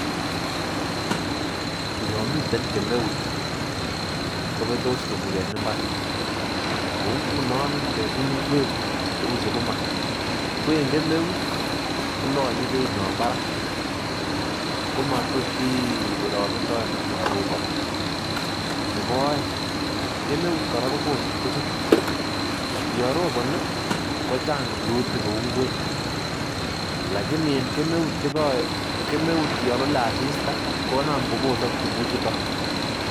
Yon miten kemeut kobetos tuguk en mbar, kou ngunon ngemin ngwek cheu sukuma ko en kemeut kolanye beinywan barak komatot irogendoen ak yon roboni nebo oeng kemeut kora kobose tuguk yon roboni kochang rurutik kou ngwek lakini en kemut yon lole aista konam kobosok tuguchuto.